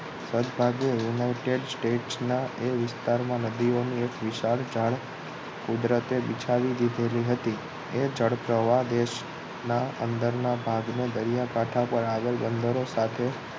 સદભાગે united state ના એ વિસ્તાર માં નદીઓ એક વિશાળ જાળ કુદરતે બિછાવી દીધેલી હતી એ જળપ્રવાહ દેશના અંદરના ભાગ દરિયા કાંઠો પર આગળ બંદરો સાથે